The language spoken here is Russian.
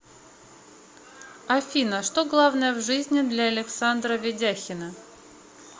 афина что главное в жизни для александра ведяхина